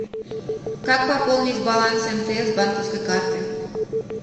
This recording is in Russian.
как пополнить баланс мтс с банковской карты